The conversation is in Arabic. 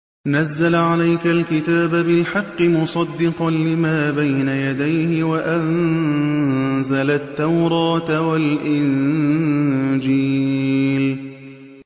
نَزَّلَ عَلَيْكَ الْكِتَابَ بِالْحَقِّ مُصَدِّقًا لِّمَا بَيْنَ يَدَيْهِ وَأَنزَلَ التَّوْرَاةَ وَالْإِنجِيلَ